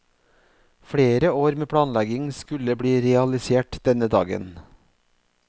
Flere år med planlegging skulle bli realisert denne dagen.